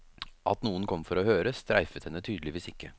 At noen kom for å høre, streifet henne tydeligvis ikke.